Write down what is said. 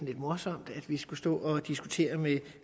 lidt morsomt at vi skulle stå og diskutere med